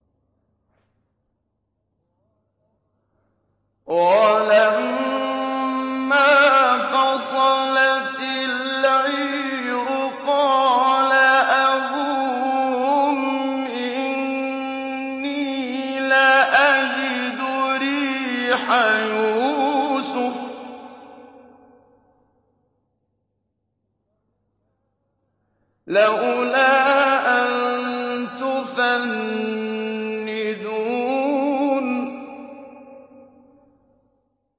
وَلَمَّا فَصَلَتِ الْعِيرُ قَالَ أَبُوهُمْ إِنِّي لَأَجِدُ رِيحَ يُوسُفَ ۖ لَوْلَا أَن تُفَنِّدُونِ